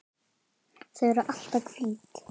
Þau eru alltaf hvít.